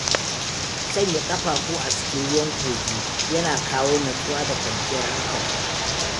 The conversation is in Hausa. Sanya ƙafafu a cikin ruwan kogi yana kawo natsuwa da kwanciyar hankali.